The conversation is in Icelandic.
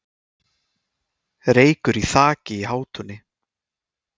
Reykur í þaki í Hátúni